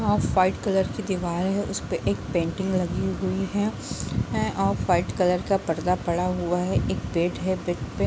यहाँ white colour का दीवार हैं उसमें पेंटिंग लगी हुई हैं और वाइट कलर का पर्दा पड़ा हुआ हैं एक बेड हैं |